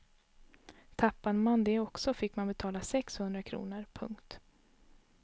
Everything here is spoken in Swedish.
Tappade man det också fick man betala sex hundra kronor. punkt